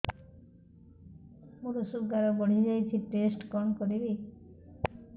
ମୋର ଶୁଗାର ବଢିଯାଇଛି ଟେଷ୍ଟ କଣ କରିବି